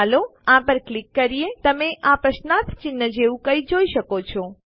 ચાલો આ પર ક્લિક કરીએ તમે આ પ્રશ્નાર્થ ચિહ્ન જેવું કંઈક જોઈ શકો છો